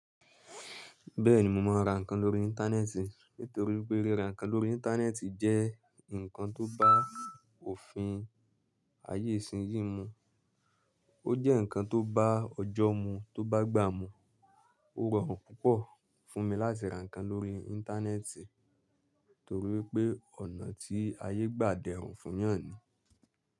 Bẹ́ẹ̀ni mo máa ra nǹkan lórí Internet nítorí pé ríra nǹkan lórí Internet jẹ́ nǹkan tó bá òfin ayé ìsinyìí mu. Ó jẹ́ nǹkan tó bá ọjọ́ mú tó bá gbà mú. Ó rọrùn púpọ̀ fún mi láti ra nǹkan lórí Internet torí pé ọ̀nà tí ayé gbà dẹrùn fún yàn ni.